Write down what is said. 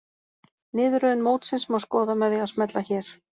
Niðurröðun mótsins má skoða með því að smella hér